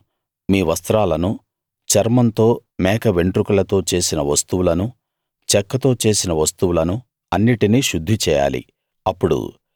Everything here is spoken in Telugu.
మీరు మీ వస్త్రాలను చర్మంతో మేక వెండ్రుకలతో చేసిన వస్తువులను చెక్కతో చేసిన వస్తువులను అన్నిటినీ శుద్ధి చేయాలి